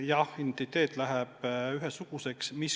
Jah, identiteet läheb ühesuguseks.